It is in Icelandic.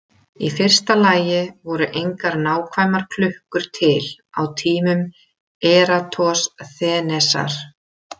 Í fyrsta lagi voru engar nákvæmar klukkur til á tímum Eratosþenesar.